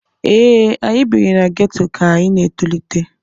ee, anyị biri na geto ka anyị na-etolite